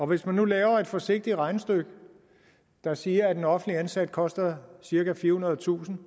hvis man nu laver et forsigtigt regnestykke der siger at en offentligt ansat koster cirka firehundredetusind